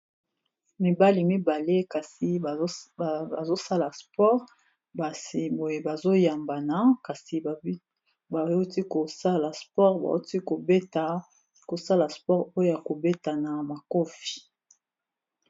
Mibali mibale kasi bazosala sport ba siboye bazoyambana kasi bawuti kosala sport bauti kobeta kosala sport oyo ya kobetana makofi.